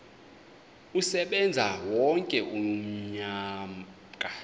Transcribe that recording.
asebenze wonke umnyaka